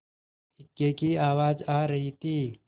इक्के की आवाज आ रही थी